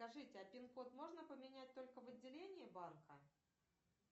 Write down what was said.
скажите а пин код можно поменять только в отделении банка